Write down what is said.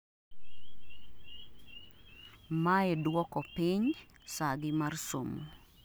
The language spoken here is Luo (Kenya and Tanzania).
mae duoko piny sagi mar somo